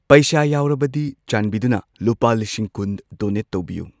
ꯄꯩꯁꯥ ꯌꯥꯎꯔꯕꯗꯤ ꯆꯥꯟꯕꯤꯗꯨꯅ ꯂꯨꯄꯥ ꯂꯤꯁꯤꯡ ꯀꯨꯟ ꯗꯣꯅꯦꯠ ꯇꯧꯕꯤꯌꯨ꯫